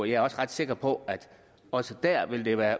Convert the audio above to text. jeg er også ret sikker på at det også der vil være